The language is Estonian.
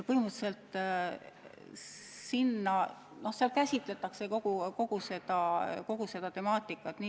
Põhimõtteliselt selles käsitletakse ka kogu seda temaatikat.